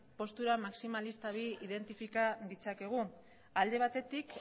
postura maximalista bi identifika ditzakegu alde batetik